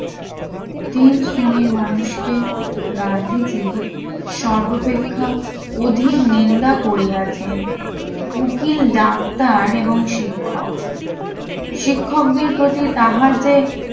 তিন শ্রেণীর মানুষকে গান্ধীজি সর্বপেক্ষা অধিক নিন্দা করিয়াছেন উকিল ডাক্তার এবং শিক্ষক শিক্ষকদের প্রতি তাহার যে